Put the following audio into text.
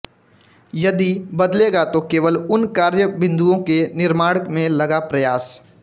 यदि बदलेगा तो केवल उन कार्य बिंदुओं के निर्माण में लगा प्रयास